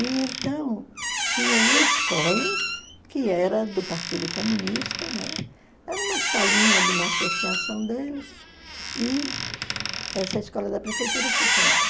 E, então, tinha uma escola que era do Partido Comunista, né, era uma salinha de uma associação deles, e essa escola da prefeitura funcionava.